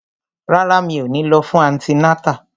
Rárá, mi ò ní lọ fún antinátà